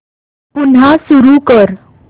पुन्हा सुरू कर